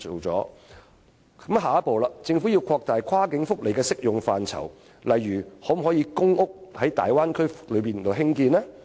政府的下一步是擴大跨境福利的適用範疇，例如可否在大灣區內興建公屋呢？